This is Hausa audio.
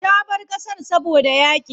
Ta bar ƙasar saboda yaƙi.